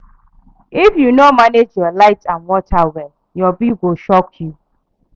If you no manage your light and water well, your bill go shock you.